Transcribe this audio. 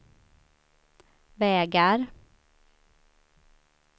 vägar